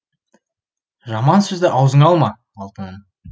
жаман сөзді аузыңа алма алтыным